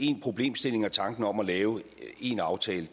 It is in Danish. én problemstilling og tanken om at lave en aftale